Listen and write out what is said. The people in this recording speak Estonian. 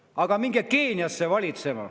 Aga minge Keeniasse valitsema.